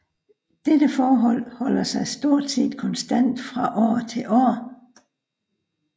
Dette forhold holder sig stort set konstant fra år til år